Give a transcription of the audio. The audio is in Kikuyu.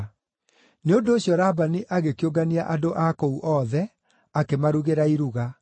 Nĩ ũndũ ũcio Labani agĩkĩũngania andũ a kũu othe, akĩmarugĩra iruga.